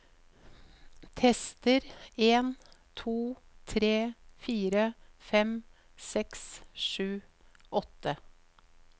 Tester en to tre fire fem seks sju åtte